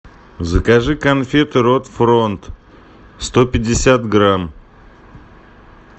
закажи конфеты рот фронт сто пятьдесят грамм